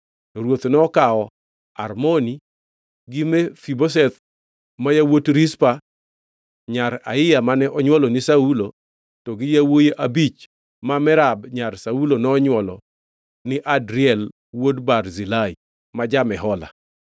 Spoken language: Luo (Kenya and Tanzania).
To ruoth nokawo Armoni gi Mefibosheth ma yawuot Rizpa nyar Aiya mane onywolo ni Saulo, to gi yawuowi abich ma Merab nyar Saulo nonywolo ni Adriel wuod Barzilai, ma ja-Mehola.